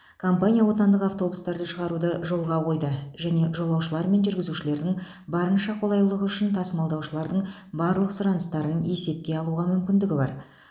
компания отандық автобустарды шығаруды жолға қойды және жолаушылар мен жүргізушілердің барынша қолайлылығы үшін тасымалдаушылардың барлық сұраныстарын есепке алуға мүмкіндігі бар